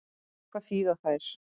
Hvað þýða þær?